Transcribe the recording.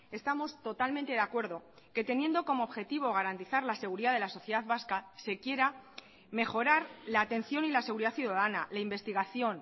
estamos totalmente de acuerdo que teniendo como objetivo garantizar la seguridad de la sociedad vasca se quiera mejorar la atención y la seguridad ciudadana la investigación